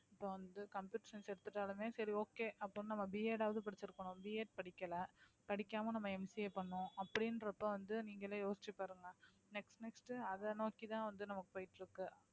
இப்ப வந்து computer science எடுத்துட்டாலுமே சரி okay அப்படின்னு நம்ம Bed வாவது படிச்சிருக்கணும் Bed படிக்கலை படிக்காம நம்ம MCA பண்ணோம் அப்படின்றப்ப வந்து நீங்களே யோசிச்சு பாருங்க next next அதை நோக்கித் தான் வந்து நமக்கு போயிட்டு இருக்கு